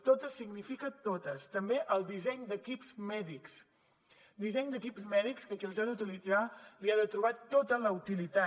totes significa totes també el disseny d’equips mèdics disseny d’equips mèdics que qui els ha d’utilitzar li ha de trobar tota la utilitat